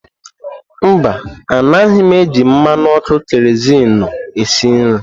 Mba, anaghị m eji mmanụ ọkụ keroziinu esi nri.